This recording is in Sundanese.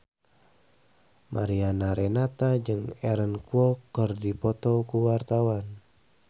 Mariana Renata jeung Aaron Kwok keur dipoto ku wartawan